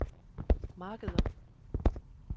markeder